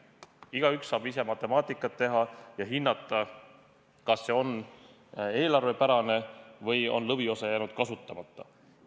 Igaüks saab ise matemaatikat teha ja hinnata, kas see on eelarvepärane või on lõviosa jäänud kasutamata.